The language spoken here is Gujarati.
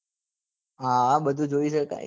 આ બધું જોઈ સકાય